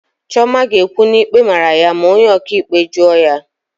Chioma ga-ekwu na ikpe mara ya ma onye ọkaikpe jụọ ya.